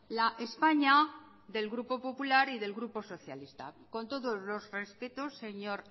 la españa del grupo popular y del grupo socialista con todos los respetos señor